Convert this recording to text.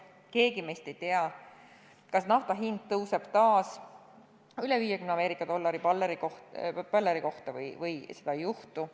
Keegi meist ei tea, kas naftahind tõuseb taas üle 50 USA dollari barreli kohta või seda ei juhtu.